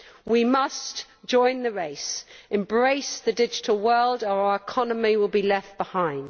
We must join the race, embrace the digital world, or our economy will be left behind.